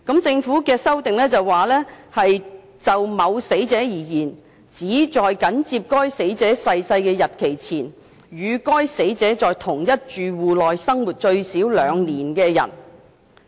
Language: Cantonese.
政府的修正案是，就某死者而言，"相關人士"指"在緊接該死者逝世的日期前"，"與該死者在同一住戶內已生活最少2年"的人。